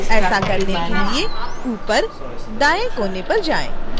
ऐसा करने के लिए ऊपर दाएँ कोने पर जाएँ